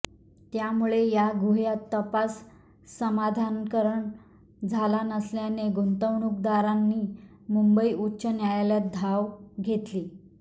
त्यामुळे या गुह्याचा तपास समाधानकारण झाला नसल्याने गुंतवणूकदारांनी मुंबई उच्च न्यायालयात धाव घेतली